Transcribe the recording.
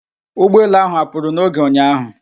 Ụgbọelu ahụ apụrụ n'oge ụnyạahụ?